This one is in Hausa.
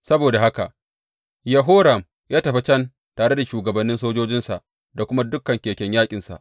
Saboda haka Yehoram ya tafi can tare da shugabannin sojojinsa da kuma dukan keken yaƙinsa.